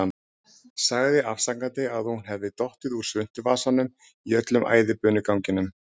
Sagði afsakandi að hún hefði dottið úr svuntuvasanum í öllum æðibunuganginum.